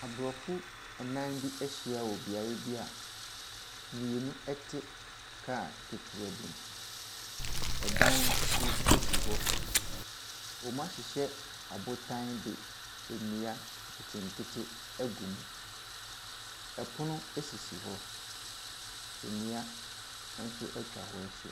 Aborɔfo nnan bi ahyia wɔ beaeɛ bi a mmienu te kaa ketewa bi mu. Dan bi si hɔ. Wɔahyehyɛ abotan de nnua nketenkete agum. Pono sisi hɔ. Nnua nso atwa hɔ ahyia.